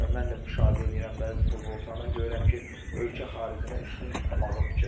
Və mən də müşahidə eləyirəm bəzi futbolçulardan, görürəm ki, ölkə xaricinə üstün tutmağı fikirləşir.